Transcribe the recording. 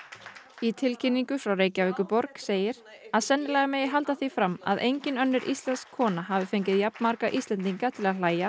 í tilkynningu frá Reykjavíkurborg segir að sennilega megi halda því fram að engin önnur íslensk kona hafa fengið jafn marga Íslendinga til að hlæja